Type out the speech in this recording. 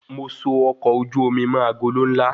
Mo so ọkọ ojú omi mọ agolo nla